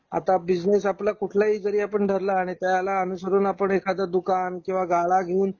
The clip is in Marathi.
आता बिझनेस आपला कुठला ही जरी आपण धरला आणि त्याला अनुसरून आपण एखाद्या दुकान किंवा गाळा घेऊन